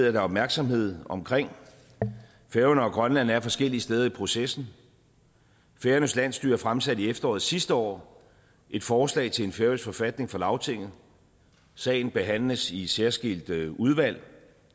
at der er opmærksomhed omkring færøerne og grønland er forskellige steder i processen færøernes landsstyre fremsatte i efteråret sidste år et forslag til en færøsk forfatning for lagtinget sagen behandles i et særskilt udvalg